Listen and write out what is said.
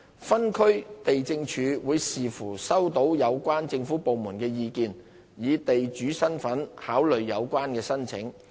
分區地政處會視乎收到有關政府部門的意見，以地主身份考慮有關申請。